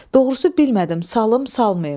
Doğrusu bilmədim salım, salmayım.